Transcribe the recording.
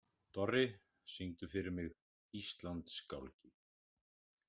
Dorri, syngdu fyrir mig „Íslandsgálgi“.